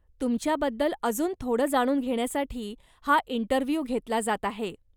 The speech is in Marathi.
तुमच्याबद्दल अजून थोडं जाणून घेण्यासाठी हा इंटरव्ह्यु घेतला जात आहे.